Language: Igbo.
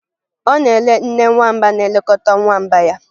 Ọ na-ele nne nwamba na-elekọta nwamba ya